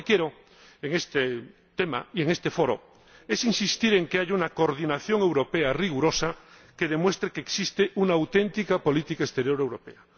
Sobre este tema, lo que quiero en este foro es insistir en que haya una coordinación europea rigurosa que demuestre que existe una auténtica política exterior europea.